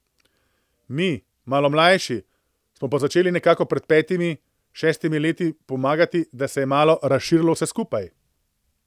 Mi, malo mlajši, smo pa začeli nekako pred petimi, šestimi leti pomagati, da se je malo razširilo vse skupaj.